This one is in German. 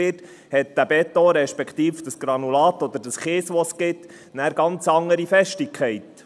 Und wenn dieser Beton dann gehäckselt wird, hat das Granulat oder der Kies, der entsteht, eine ganz andere Festigkeit.